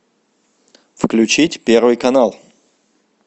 включить первый канал